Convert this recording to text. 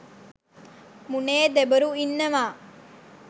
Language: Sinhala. මුනේ දෙබරු ඉන්නවා.